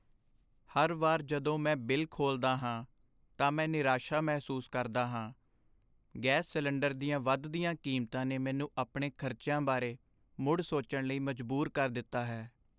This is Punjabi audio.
ਹਰ ਵਾਰ ਜਦੋਂ ਮੈਂ ਬਿੱਲ ਖੋਲ੍ਹਦਾ ਹਾਂ, ਤਾਂ ਮੈਂ ਨਿਰਾਸ਼ਾ ਮਹਿਸੂਸ ਕਰਦਾ ਹਾਂ। ਗੈਸ ਸਿਲੰਡਰ ਦੀਆਂ ਵਧਦੀਆਂ ਕੀਮਤਾਂ ਨੇ ਮੈਨੂੰ ਆਪਣੇ ਖ਼ਰਚਿਆਂ ਬਾਰੇ ਮੁੜ ਸੋਚਣ ਲਈ ਮਜਬੂਰ ਕਰ ਦਿੱਤਾ ਹੈ।